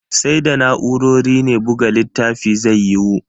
Sai da na'urori ne buga littafi zai yiwu.